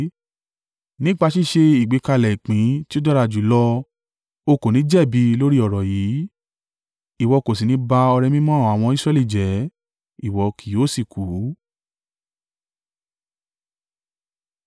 Nípa ṣíṣe ìgbékalẹ̀ ìpín tí ó dára jùlọ o kò ní jẹ̀bi lórí ọ̀rọ̀ yìí, ìwọ kò sì ní ba ọrẹ mímọ́ àwọn ọmọ Israẹli jẹ́, ìwọ kì yóò sì kú.’ ”